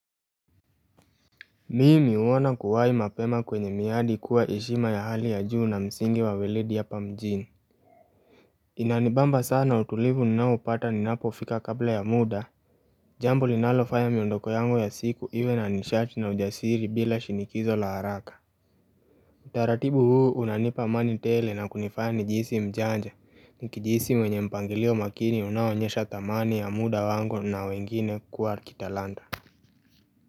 Mimi uona kuwai mapema kwenye miadi kuwa eshima ya hali ya juu na msingi wa wilidi hapa mjini Inanibamba sana utulivu ninaopata ni napo fika kabla ya muda Jambo linalofanya miondoko yango ya siku iwe na nishati na ujasiri bila shinikizo la haraka utaratibu huu unanipa amani tele na kunifanya ni jisi mjanja ni kijisi mwenye mpangilio makini unawanyesha tamani ya muda wangu na wengine kuwa kitalanda.